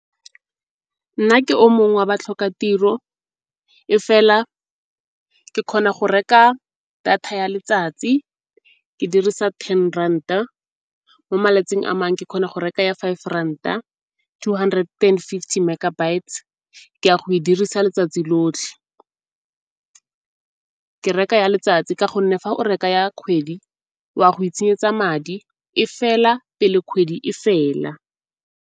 Nna ke o mongwe wa batlhokatiro e fela ke kgona go reka data ya letsatsi ke dirisa ten rand-a. Mo malatsing a mangwe ke kgona go reka ya five ranta, two hundred and fifty megabytes ke ya go e dirisa letsatsi lotlhe. Ke reka ya letsatsi ka gonne fa o reka ya kgwedi wa go itshenyetsa madi, e fela pele kgwedi e fela.